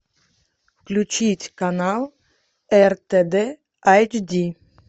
включить канал ртд айч ди